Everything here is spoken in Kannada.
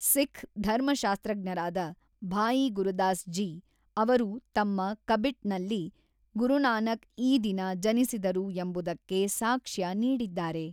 ಸಿಖ್ ಧರ್ಮಶಾಸ್ತ್ರಜ್ಞರಾದ, ಭಾಯಿ ಗುರುದಾಸ್ ಜಿ, ಅವರು ತಮ್ಮ ಕಬಿಟ್‌ನಲ್ಲಿ ಗುರುನಾನಕ್ ಈ ದಿನ ಜನಿಸಿದರು ಎಂಬುದಕ್ಕೆ ಸಾಕ್ಷ್ಯ ನೀಡಿದ್ದಾರೆ.